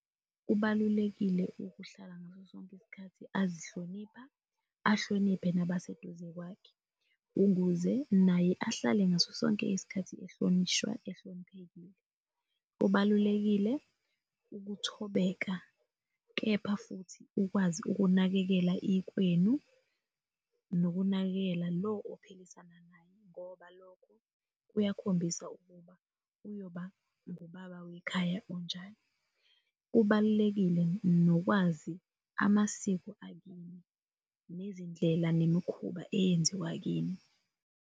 Kubalulekile ukuhlala ngaso sonke isikhathi azihlonipha ahloniphe nabaseduze kwakhe, ukuze naye ahlale ngaso sonke isikhathi ehlonishwa ehloniphekile. Kubalulekile ukuthobeka, kepha futhi ukwazi ukunakekela ikwenu nokunakekela lo ophiliswana naye ngoba lokho kuyakhombisa ukuba kuyoba ngubaba wekhaya onjani. Kubalulekile nokwazi amasiko akini, nezindlela, nemikhuba eyenziwa kini.